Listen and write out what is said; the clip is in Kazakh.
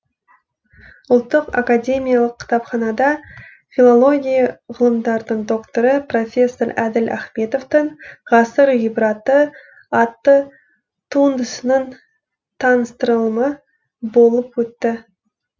ұлттық академиялық кітапханада филология ғылымдарының докторы профессор әділ ахметовтің ғасыр ғибраты атты туындысының таныстырылымы болып өтті